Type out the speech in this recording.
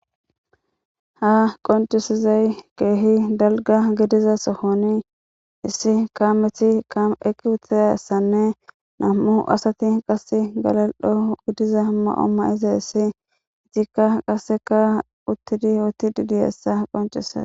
Ha qonccisizay keehi dalgga sohon issi kaameti eqqi dizayssanne nami'u asati qasse galai'o diza ma'o ma'idayssa izikka qasse uttidi oottidi diyayssa qonccises.